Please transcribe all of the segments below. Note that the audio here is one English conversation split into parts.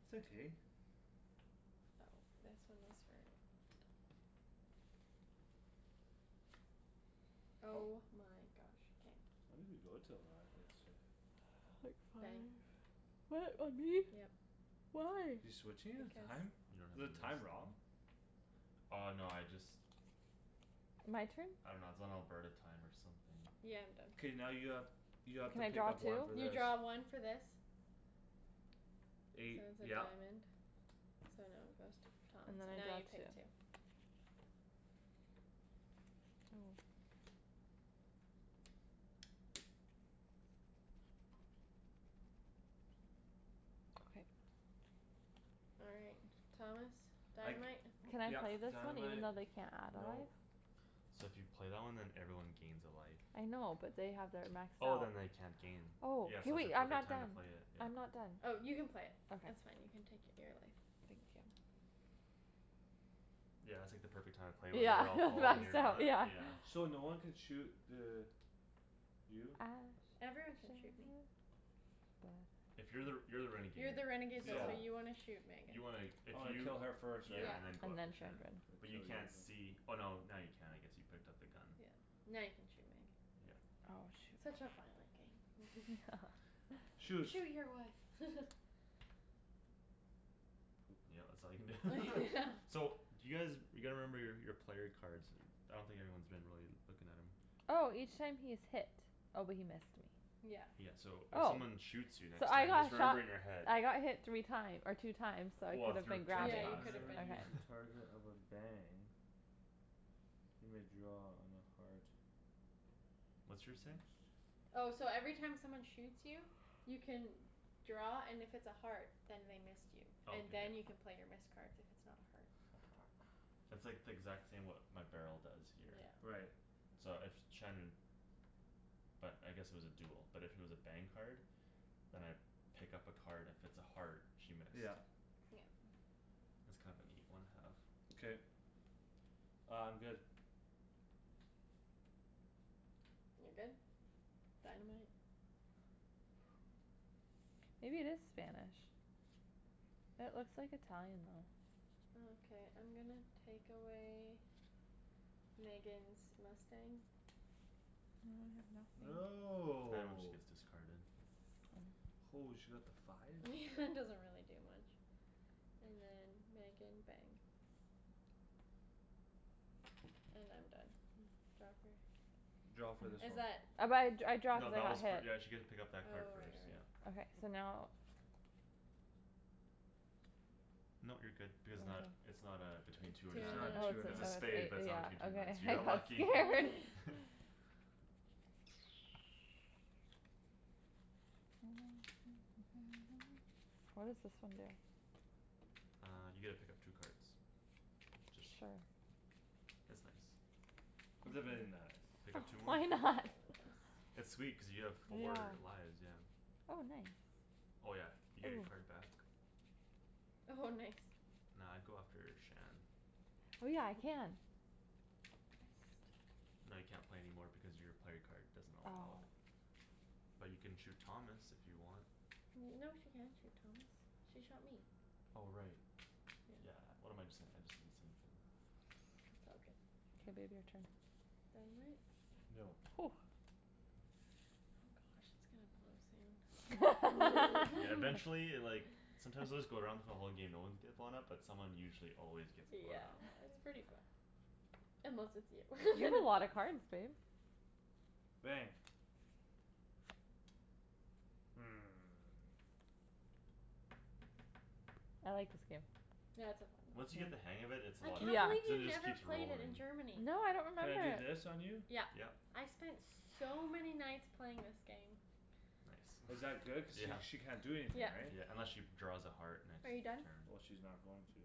my gosh. okay. Oh, this one was for Oh my gosh. K. When did we go to a live yesterday? Quick Bang. fire. What, on me? Yep. Why? You're switching his Because. time? You don't Is have the a list? time wrong? Oh, no, I just. My turn? I dunno, it's on Alberta time or something. Yeah, I'm done. K, now you have, you have to Can I pick draw up two? one for You this. draw one for this. So it Eight, was a yep. diamond, so now it goes to Thomas And then and I now draw you two. take two. Oh. Okay. All right. Thomas. I c- Dynamite. Can I yep, play this one even dynamite, though they can't add a nope. life? So if you play that one then everyone gains a life. I know, but they have their max Oh, health. then they can't gain. Oh, Yeah, hey, so it's a wait, I'm perfect not time to done. play it, yeah. I'm not done. Oh, you can play. That's Okay. fine; you can take your beer away. Thank you. Yeah, it's like the perfect time to play it when Yeah, they're all full and that's you're down, not, yeah. yeah. So no one can shoot the You? I shot Everyone can the shoot me. sheriff. But If you're the, you're the You're renegade, the renegade though Yeah. so so you want to shoot Megan. You wanna, if Oh, I you kill her first, right? Yeah. Yeah, and then go And after then I Shandryn. Shan. But you kill you can't see, oh, no, now you can, I guess; you picked up the gun. Yeah, now you can shoot me. Yeah. Oh, Such shoot. a violent game. Shoot. "Shoot your wife!" Poop. Yeah, that's all you can do. Yeah. So do you guys, you gotta remember your, your player cards. I don't think anyone's been really looking at 'em. Oh! Each time he is hit. Oh, but he missed me. Yeah. Yeah, so if Oh. someone shoots you So next I time got just remember shot in your head. I got hit three time- or two times so I Well, if could've your been turn's Yeah, grabbing. you passed, could've Whenever been, yeah. he's Okay. yeah. a target of a bang you may draw on a heart. What's yours say? Oh, so every time someone shoots you You can draw, and if it's a heart, then they missed you. Oh, And k, yep. then you can play your missed cards if it's not a heart. It's like the exact same, what my barrel does here. Yeah. Right. So if Shandryn But I guess it was a duel, but if it was a bang card Then I pick up a card, and if it's a heart, she missed. Yeah. Yep. That's kind of a neat one have. K. Uh, I'm good. You're good? Dynamite? Maybe it is Spanish. It looks like Italian, though. Okay, I'm gonna take away Megan's mustang. Oh, now I have nothing. Right when she No. gets discarded. Holy, she got the five? Doesn't really do much. And then, Megan, bang. And I'm done. Draw for? Draw Oh for but this Is one. that? I, I draw No, cuz I that was got for, hit. yeah, she get to pick up Oh, right, that card right, first, yeah. right. Okay, so now. Nope, you're good. Because it's not, Mhm. it's not uh, between two or Two It's or nine. not Oh, two or it's It's nine. a nine. a have spade, but it's a, yeah, not between two or nine. okay. So you I got got lucky. scared. What does this one do? Uh, you get to pick up two cards. It's just, Sure. it's nice. It's a Okay. very nice. Pick up two more. Why not? It's sweet cuz you have Yeah. four lives, yeah. Oh, nice. Oh, yeah, you get your Ooh. card back. Oh, nice. Nah, I'd go after Shan. Oh, yeah, I can. No, you can't play any more because your player card doesn't allow Oh. it. But you can shoot Thomas, if you want. No, she can't shoot Thomas. She shot me. Oh, right. Yeah. Yeah, what am I j- saying, I just didn't see anything. It's all good. K, babe, your Yeah. turn. Dynamite. No. Oh gosh, it's gonna blow soon. Yeah, eventually, like Sometimes it would just go around for the whole game, no ones get blown up, but someone usually always gets blown Yeah, up. it's pretty fun. Unless it's you. You have Then a it's lot of cards, babe. Bang. Hmm. I like this game. Yeah, it's so fun. Once you get the hang of it, it's a I lot of can't Yeah. fun. believe Cuz it you just never keeps played it in rolling. Germany. No, I don't Can remember I do it. this on you? Yeah. Yep. I spent so many nights playing this game. Nice. Is that good, cuz sh- she can't do Yeah. anything, Yeah. right? Yeah, unless she draws a heart next Are you done? turn. Well, she's not going to.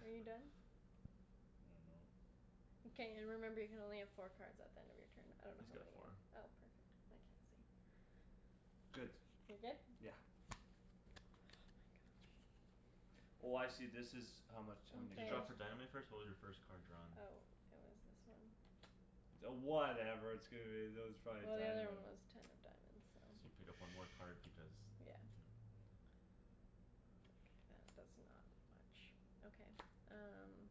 Are you done? I dunno. Mkay. Remember you can only have four cards at the end of your turn. I don't know He's how got many you, four. oh, perfect. I can't see. Good. You're good? Yeah. Oh my gosh. Oh, I see, this is how much how many You Okay. draw cards. for dynamite first? What was your first card drawn? Oh, it was this one. Oh, whatever, that was probably Well, the other one dynamite. was ten of diamonds, So you so. pick up one more card because, Yeah. yeah. That does not much. Okay, um.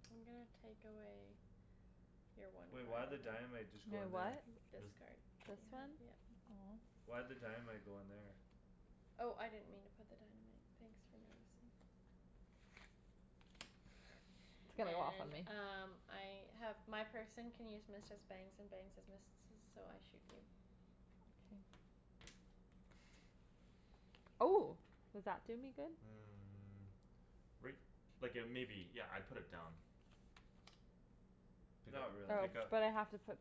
I'm gonna take away Your one Wait, why'd the dynamite just My go in there? what? This This card. This You have, one? yep. Aw. Why'd the dynamite go in there? Oh, I didn't mean to put the dynamite. Thanks for noticing. It's gonna go off on And me. um, I have My person can use missed as bangs and bangs as missed-esses, so I shoot you. K. Oh. Does that do me good? Mm, right, like uh maybe. Yeah, I'd put it down. Pick Not up, Oh, really. pick up. but I have to put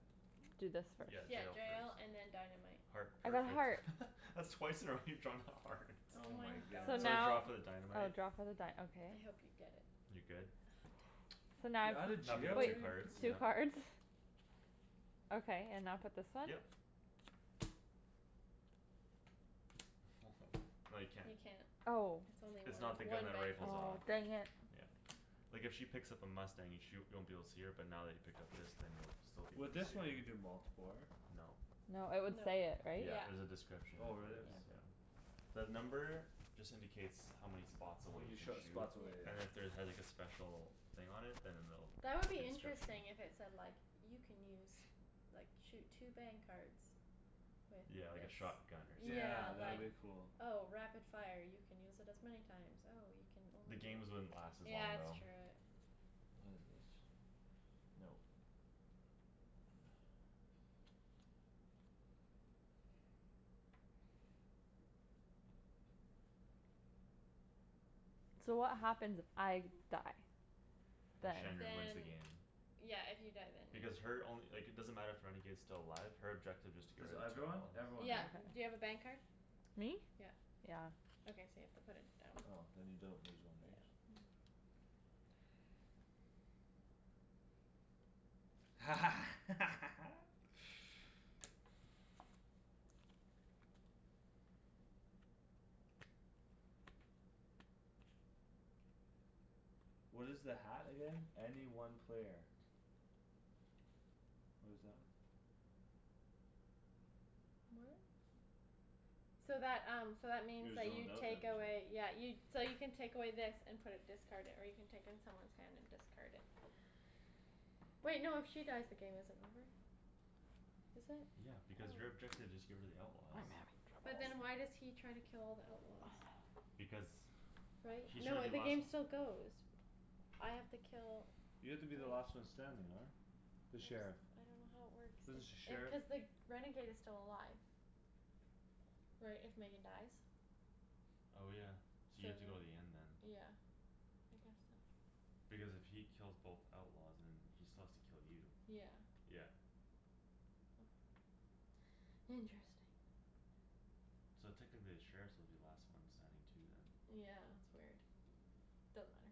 Do this Mm, first. Yeah, jail yeah first. and then dynamite. Heart, I got perfect. heart. That's twice in a row you've drawn a heart. Oh Oh my my So goodness. gosh. So I draw now for the Oh, dynamite. draw for the dy- okay. I hope you get it. You good? Ah, damn it. So now You're outta Now pick jail if, up two wait, already? cards, yeah. two Poop. cards? Okay, and now put this one? Yep. No, you can't. You can't. Oh. It's only It's one, not the gun one that bang per rifles Aw, off. turn, dang yeah. it. Yeah. Like if she picks up a mustang, you sh- you won't be able to see her, but now that he picked up this then you'll still be able to With this see her. one, you can do multipler. No. No, it would No. say it, right? Yeah, Yeah. there's a description Oh, if there really? is, Yep. Okay. yeah. The number just indicates how many H- spots how away you many can sh- shoot. spots away, Yeah. And if yeah. there had like a special thing on it, then it'll, That would like be a description. interesting, if it said like You can use, like, shoot two bang cards With Yeah, like a this. shotgun or something, Yeah, Yeah, that like, would be yeah. cool. oh, rapid fire, you can use it as many times. Oh, you can The only games wouldn't last as long, Yeah, it's though. true, it What is this? Nope. So what happens if I die? Then Then Shandryn wins the Then game. Yeah, if you die then. Because her only, like, it doesn't matter if renegade's still alive, her objective is to get Cuz rid of two everyone? outlaws. Everyone, Yeah, right? do you have a bang card? Me? Yeah. Yeah. Okay, so you have to put it down. Oh, then you don't lose one these. No. What is the hat again? Any one player. What is that? What? So that, um, so that means Your you take away, yeah, you So you can take away this and put it discarded, or you can take in someone's hand and discard it. Wait, no, if she dies, the game isn't over. Is it? Yeah, because your Oh. objective is just get rid of the outlaws. I'm having But then troubles. why does he try to kill all the outlaws? Because Right? He's No, trying to it, be the last game still goes. I have to kill You have to be the last one standing, right? I'm The sheriff. s- I don't know how it works, This the sh- if uh sheriff? cuz the renegade is still alive. Right, if Megan dies? Oh, yeah, so you have Same, to go to the end then. yeah. I guess so. Because if he kills both outlaws, then he still has to kill you. Yeah. Yeah. Okay. Interesting. So technically the sheriffs will be the last one standing too, then. Yeah, it's weird. Doesn't matter.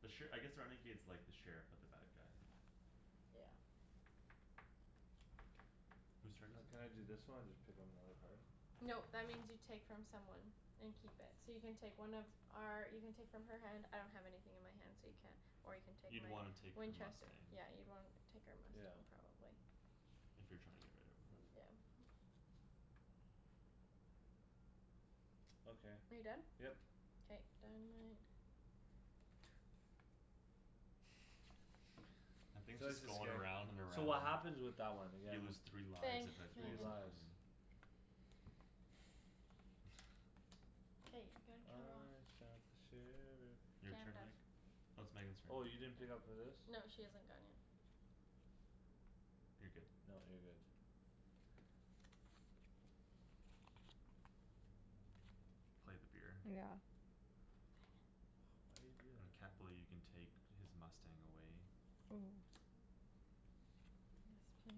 The sher- I guess the renegade's like the sheriff, but the bad guy. Yeah. Whose turn is Can I it? do this one and just pick up another card? Nope, that means you take from someone. And keep it. So you can take one of our, you can take from her hand, I don't have anything in my hand so you can't. Or you can take You'd my wanna take her Winchester, mustang. yeah, you'd wanna take our Yeah. mustang probably. If you're trying to get rid of her. Mm, yeah. Okay. Are you done? Yep. K, dynamite. That thing's just is going scared. around and So around. what happens with that one again? You lose three lives Bang, if it Three blows Megan. up on lives. you. Hey, we gotta kill her off. I shot the sheriff. Your K, I'm turn, done. Meg? No, it's Megan's turn. Oh, you didn't pick up for this? No, she hasn't gone yet. You're good. No, you're good. Play the beer. Yeah. Dang it. Why you do And Cat that? Balou, you can take his mustang away. Ooh. Yes,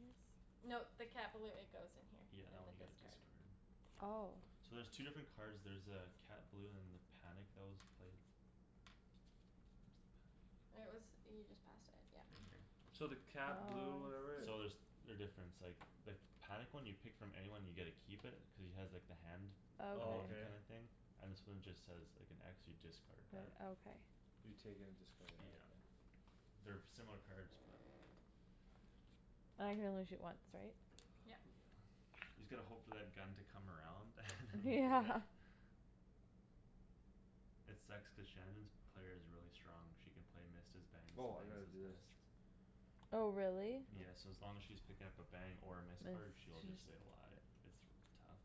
please. No, the Cat Balou, it goes in here. Yeah, that In one the you gotta discard. discard. Oh. So there's two different Yeah. cards, there's uh Cat Balou and the panic that was played. Where's the panic? It was, you just passed it, yeah. Right here. So the cat blue Oh. or whatever So there's, they're different; it's like the panic one, you pick from anyone and you get to keep it, cuz he has like the hand Oh, emoji okay. kinda Okay. thing? And this one just says, like, an x, you discard What? that. Okay. You take it and discard it, yeah Yeah. okay. They're similar cards, but. I can only shoot once, right? Yeah. Yep. You just gotta hope for that gun to come around and then you Yeah. get it. It sucks cuz Shandryn's player is really strong, she can play missed as bangs and Woah, I bangs gotta as do this. missed. Oh, really? Yeah, Mm. so as long as she's picking up a bang or a Mm. missed card, Miss. she'll just stay alive. It's r- tough.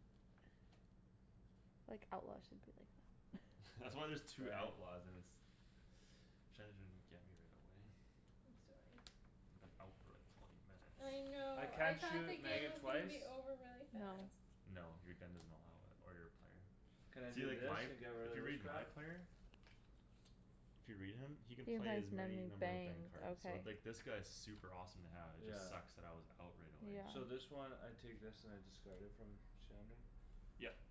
Like, outlaw should be like That's that. why there's two Bang. outlaws and it's, Shandryn get me right away. I'm sorry. I've been out for like, twenty I minutes. I know, I can't thought the shoot game Megan was gonna twice? be over really No. fast. No, your gun doesn't allow it. Or your player. Can I See, do like, this my, and get if rid you of this read my crap? player If you read him, he can You play has as many many number of bang bangs. cards, so, Okay. like, this guy's super awesome to have; it Yeah. just sucks that I was out right away. Yeah. So this one, I take this and I discard it from Shandryn? Yep.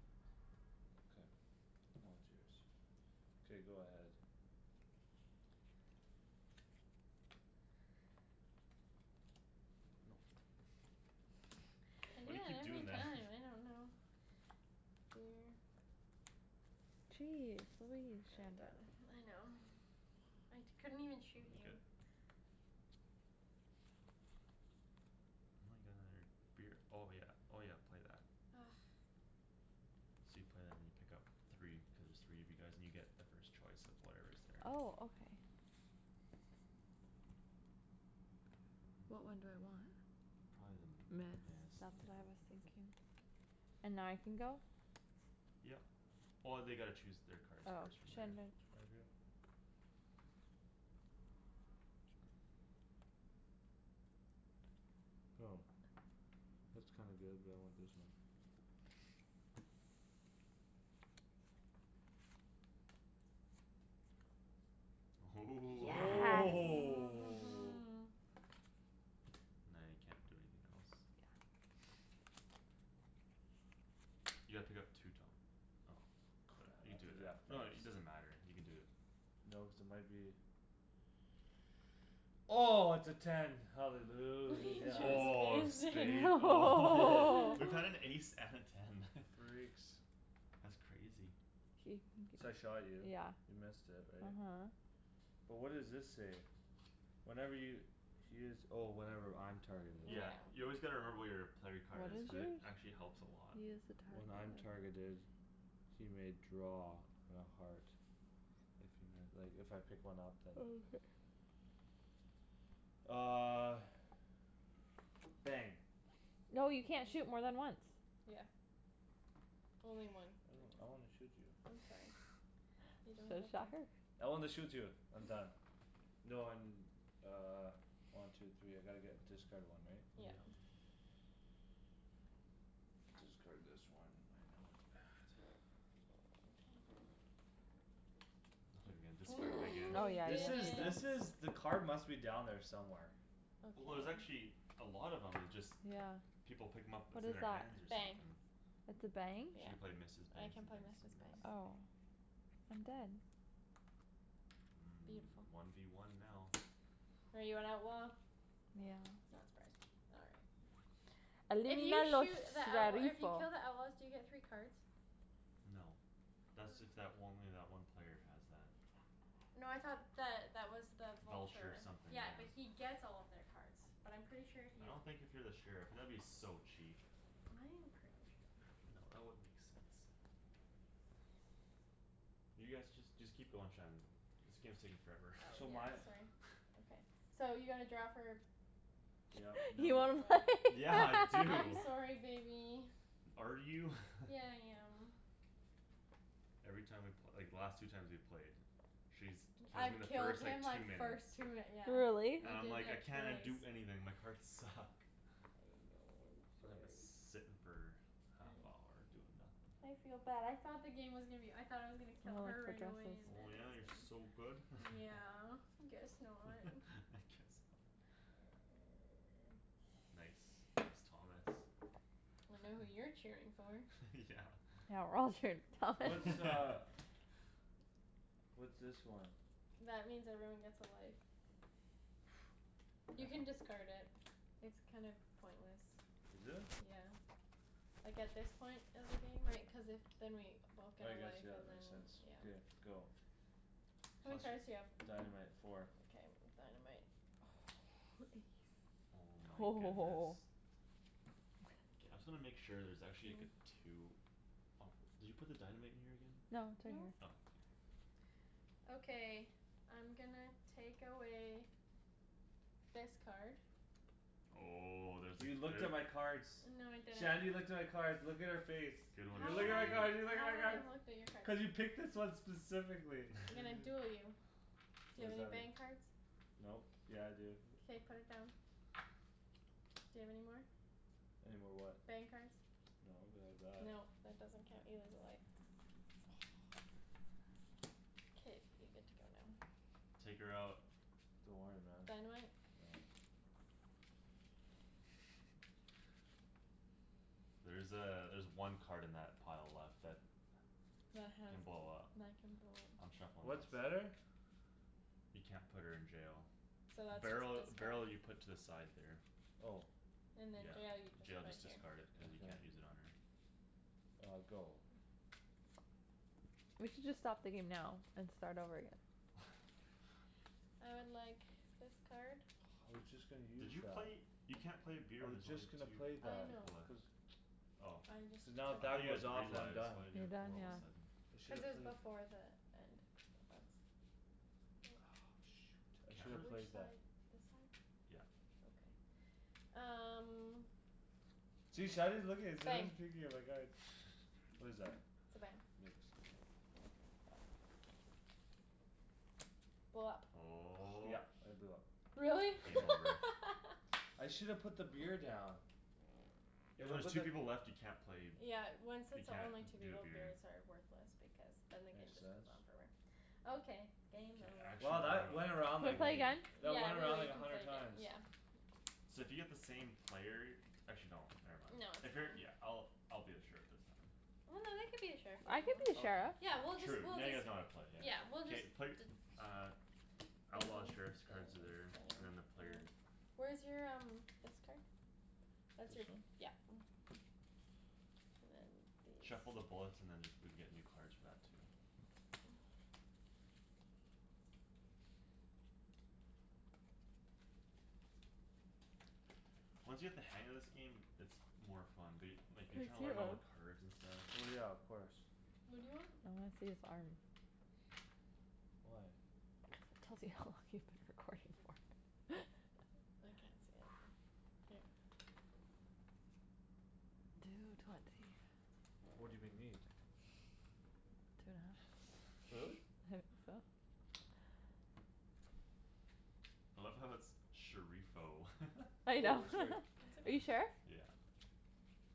K. Now it's yours. K, go ahead. Nope. I do Why do you that keep every doing that? time, I don't know. Weird. Jeez, believe, I'm Shandryn. done. I know. I t- couldn't even shoot Y- you. good. And I got another beer, oh yeah, oh yeah, play that. Argh. So you play that and you pick up three, cuz there's three of you guys and you get the first choice of whatever's there. Oh, okay. What one do I want? Probably the Miss, missed, that's yeah. what I was thinking. And now I can go? Yep. Oh, they gotta choose their cards Oh. first from there. Shandryn. Target. Go. That's kinda good but I want this one. Ooh Yes. Oh! Now you can't do anything else. You gotta pick up two, Tom, oh. Good, Crap, I you have to do do that that. No, first. it, it doesn't matter; you can do it. No, cuz it might be Oh, it's a ten, We hallelujah. Oh, a just missed it! spade? Oh. Woah! We've had an ace and a ten. Freaks. That's crazy. So K, I shot you, yeah, you missed it, right? uh-huh. But what does this say? Whenever y- he is, oh, whenever I'm targeted. Yeah, Yeah. you always gotta remember what your player What card is, is cuz it yours? actually helps a lot. He is When I'm a target of targeted He may draw on a heart. If you mi- like, if I pick one up, then. Okay. Uh Bang. No, you can't shoot more than once. Yeah. Only one I per don't, I wanna turn. shoot you. I'm sorry. You don't So, get to. shot her. I wanna shoot you. I'm done. No, I'm uh, one, two, three, I gotta get, discard one, right? Yeah. Yeah. Discard this one, I know it's bad. I thought you were gonna discard it again. Oh, yeah, This is, this is, Didn't! yeah the card must be down there somewhere. Well, there's Okay. actually a lot of 'em, it's just Yeah. people pick 'em up, What it's in is their that? hands or Bang. something. It's a bang? She can Yeah. play missed as I bangs can and play bangs missed as as bangs. missed. Oh. I'm dead. Mm, Beautiful. one v one now. Are you an outlaw? Yeah. Not surprised. All right. If you los shoot the outlaw, if you sheriffo. kill the outlaws, do you get three cards? No. How Thats is if that w- it? only that one player has that. No, I thought that that was the Vulture vulture. something, Yeah, yeah. but he gets all of their cards. But I'm pretty sure if I you don't think if you're the sheriff, that would be so cheap. I am pretty sure. No, that wouldn't make sense. You guys, just, just keep going, Shan. This game's taking forever. Oh, So yeah, my sorry, okay. So you gotta draw for? Yep, You No, nope. wanna play? right? Yeah. I I'm do! sorry, baby. Are you? Yeah, I am. Every time we pl- like, the last two times we played She's t- kills me in I've the killed first, like, him two like minutes. first two yeah. Really? And I I'm did like, "I that cannot twice. do anything; my cards suck." I know, I'm sorry. sittin' for half I hour, doing I nothing. feel bad; I thought the game was gonna be o- I thought I was gonna kill her for right away dresses. and then Oh, I yeah, you're was so g- good? Yeah, guess not. I guess not. Nice. Nice, Thomas. I know who you're cheering for. Yeah. Yeah, we're all cheering for Thomas. What's uh What's this one? That means everyone gets a life. You can discard it. It's kind of pointless. Is it? Yeah. Like, at this point of the game, right, cuz if Then we both get I a guess, life yeah, that and then, makes sense. yeah. Beer, go. How many Plus cards do you your have? Dynamite, four. Mkay, dynamite. Oh, ace. Oh my goodness. Woah. K, I'm just gonna make sure there's actually, like, a two. Oh, did you put the dynamite in here again? No, it's right No. Oh, k. here. Okay, I'm gonna take away this card. Oh, there's a You cl- looked there at my cards. No, I didn't. Shandryn looked at my cards; look at her face. Good one, You How look would at I, my card, Shan. you look how at my would I have cards! looked at your cards? Cuz you picked this one specifically I'm gonna duel you. Do What you have does any that mean? bang cards? Nope. Yeah I do K, put it down. Do you have any more? Any more what? Bang cards. No, but I have that. No, that doesn't count; you lose a life. K, you get to go now. Take her out. Don't worry, man. Dynamite? No. There's uh, there's one card in that pile left that That has can d- blow up. that can blow I'm up. shuffling What's this. better? You can't put her in jail. So that's Barrel, just discard. barrel, you put to the side there. Oh. And then jail you Yeah. just Jail, put just here. discard it, cuz you Okay. can't use it on her. Uh, go. We should just stop the game now and start over again. I would like this card. I was just gonna Did use you that. play? You can't play a beer I when was there's only just gonna two play I that. know. people left. Cuz Oh. I just Cuz now if I that thought took you had goes three off, then I'm lives, done. why do you You're have done, four all of yeah. a Mm. sudden? I should Cuz it have was played before the end of I shoulda Which played that. side, this side? Yeah. Okay. Um See, Shandryn's looking, Bang. Shandryn's peeking at my cards. What is that? It's a bang. Mixed. Okay, go. Blow up. Oh. Yep, I blew up. Really? Game Yeah. over. I shoulda put the beer down. Yeah, If when I there's just two people left, you can't play b- Yeah, when, since You there can't only two d- do a people, beer. beers are worthless because then the game Makes just sense. on forever. Okay, K, game I over. actually Wow, wanna that went around, Can we like, play play. again? that Yeah, went around, we'll, we like, a can play hundred again, times. yeah. So if you get the same player Actually no, never mind. No, it's If you're, yeah, fine. I'll, I'll be the sheriff this time. Well, no, they could be a sheriff I could be a Okay. sheriff. Yeah, we'll just, Sure, true. we'll Now you just guys know how to play, yeah. Yeah, we'll just K, play, d- uh Outlaws, sheriffs cards there, and then the player Where's your um, this card? That's This your, one? yeah. And then Shuffle the these. bullets and then just, we get new cards for that too. Once you get the hang of this game, it's more fun. But y- like, you're trying to learn all the cards and stuff. Well, yeah, of course. What do you want? I wanna see his arm. Why? To see how long you've been recording for. I can't see it here. Two twenty. What do they need? Two Really? and a half. I love how it's "sheriffo." I Wait, know. what's her? It's Are you okay. sheriff? Yeah.